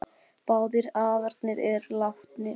Báðir afarnir eru látnir.